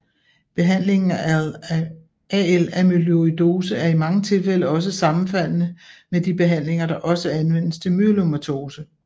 Behandlingen af AL Amyloidose er i mange tilfælde også sammenfaldende med de behandlinger der også anvendes til myelomatose